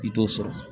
I t'o sɔrɔ